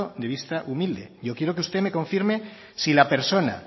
de vista humilde yo quiero que usted me confirme si la persona